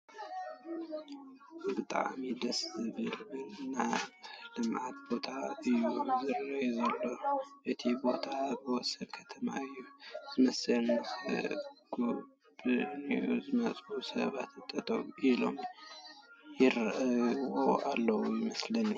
ብጣእሚ ደስ ዝብልብል ናይ ልምዓት ቦታ እዩ ዝረኣይ ዘሎ እቲ ቦታ ኣብ ወሰን ከተማ እዩ ዝመስል ፡ ንኽጉብንዩ ዝመፁ ሰባት ጠጠው ኢሎም ይሪኡዎ ኣለዉ ይመስሉ ።